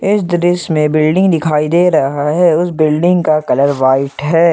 इस दृश्य मे बिल्डिंग दिखाई दे रहा है उसे बिल्डिंग का कलर व्हाइट है।